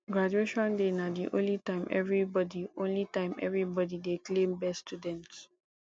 graduation day na the only time everybody only time everybody dey claim best student